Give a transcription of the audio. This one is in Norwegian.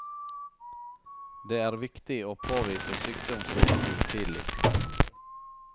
Det er viktig å påvise sykdomsrisiko tidlig.